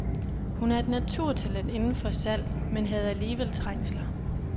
Hun er et naturtalent inden for salg, men havde alligevel trængsler.